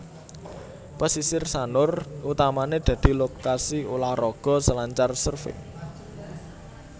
Pasisir Sanur utamané dadi lokasi ulah raga selancar surfing